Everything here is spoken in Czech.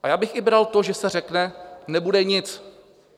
A já bych i bral to, že se řekne: Nebude nic.